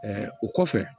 o kɔfɛ